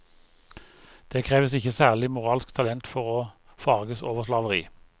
Det kreves ikke særlig moralsk talent for å forarges over slaveri.